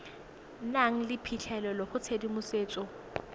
nang le phitlhelelo go tshedimosetso